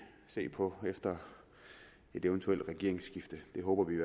se på efter et eventuelt regeringsskifte det håber vi